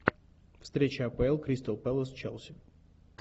встреча апл кристал пэлас челси